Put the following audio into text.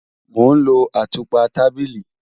Mo n lọ atúpa tábílì